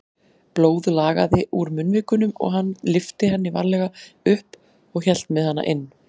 Blóð lagaði úr munnvikunum og hann lyfti henni varlega upp og hélt með hana inn.